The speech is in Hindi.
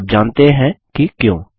आप जानते हैं कि क्यों